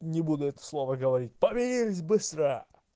не буду это слово говорит помирились быстро